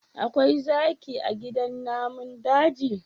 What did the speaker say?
Akwai zaki a gidan namun daji?